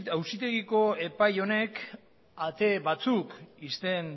auzitegiko epai honek ate batzuk ixten